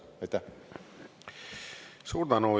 Suur tänu!